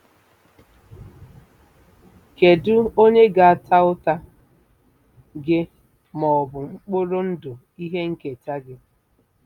Kedu onye ga-ata ụta - gị ma ọ bụ mkpụrụ ndụ ihe nketa gị?